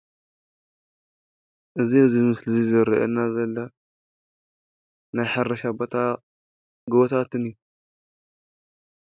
እዚ አብዚ ምስሊ ዝረእየና ዘሎ ናይ ሕርሻ ቦታ ጎቦታትን እዩ።